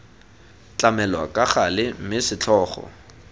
tlamelwa ka gale mme setlhogo